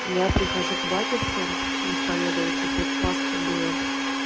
я прихожу к батюшке исповедоваться перед пасхой было